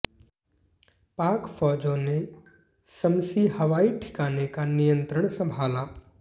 पाक फौजों ने शम्सी हवाई ठिकाने का नियंत्रण संभाला